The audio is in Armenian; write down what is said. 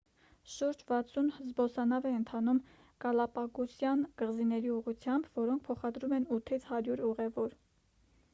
շուրջ 60 զբոսանավ է ընթանում գալապագոսյան կղզիների ուղղությամբ որոնք փոխադրում են 8-ից 100 ուղևոր